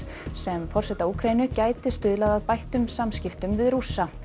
sem forseta Úkraínu gæti stuðlað að bættum samskipti við Rússa